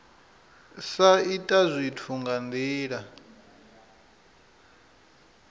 sa ita zwithu nga ndila